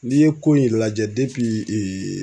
N'i ye ko in lajɛ